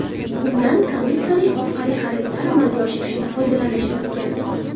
Undan Commissary orqali xaridlar amalga oshirilishida foydalanish mumkin.